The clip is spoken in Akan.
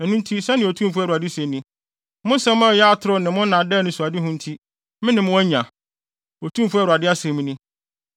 “Ɛno nti, sɛnea Otumfo Awurade se ni: ‘Mo nsɛm a ɛyɛ atoro ne mo nnaadaa anisoadehu nti, me ne mo anya’, Otumfo Awurade asɛm ni.